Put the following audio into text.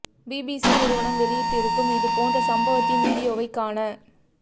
BBC நிறுவனம் வெளியிட்டு இருக்கும் இது போன்ற சம்பவத்தின் வீடியோவைக் காண